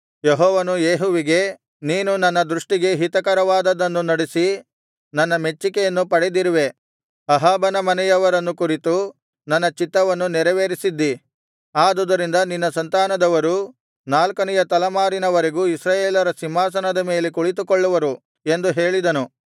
ಯೆಹೋವನು ಯೇಹುವಿಗೆ ನೀನು ನನ್ನ ದೃಷ್ಟಿಗೆ ಹಿತಕರವಾದದ್ದನ್ನು ನಡಿಸಿ ನನ್ನ ಮೆಚ್ಚಿಕೆಯನ್ನು ಪಡೆದಿರುವೆ ಅಹಾಬನ ಮನೆಯವರನ್ನು ಕುರಿತು ನನ್ನ ಚಿತ್ತವನ್ನು ನೆರವೇರಿಸಿದ್ದೀ ಆದುದರಿಂದ ನಿನ್ನ ಸಂತಾನದವರು ನಾಲ್ಕನೆಯ ತಲೆಮಾರಿನವರೆಗೂ ಇಸ್ರಾಯೇಲರ ಸಿಂಹಾಸನದ ಮೇಲೆ ಕುಳಿತುಕೊಳ್ಳುವರು ಎಂದು ಹೇಳಿದನು